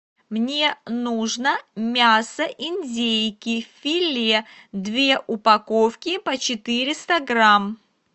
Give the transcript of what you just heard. мне нужно мясо индейки филе две упаковки по четыреста грамм